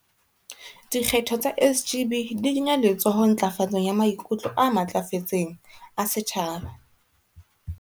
Dikgetho tsa SGB di kenya letsoho ntlafatsong ya maikutlo a matlafetseng a setjhaba.